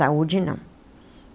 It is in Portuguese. Saúde, não.